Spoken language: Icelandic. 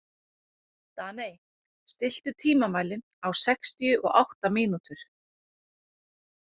Daney, stilltu tímamælinn á sextíu og átta mínútur.